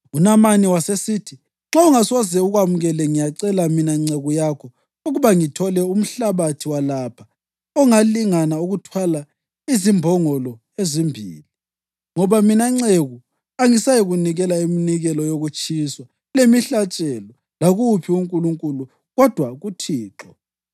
UNamani wasesithi, “Nxa ungasoze ukwamukele ngiyacela, mina nceku yakho, ukuba ngithole umhlabathi walapha ongalingana ukuthwalwa zimbongolo ezimbili, ngoba mina nceku angisayikunikela iminikelo yokutshiswa lemihlatshelo lakuwuphi unkulunkulu kodwa kuThixo.